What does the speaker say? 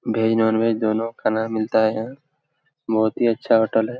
Veg non veg दोनों खाना मिलता है यहॉं। बहुत ही अच्छा होटल है।